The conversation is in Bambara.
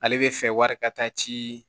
Ale bɛ fɛ wari ka taa ci